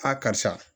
A karisa